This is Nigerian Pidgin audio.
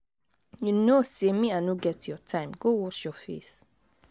you no say me i no get your time go wash your face.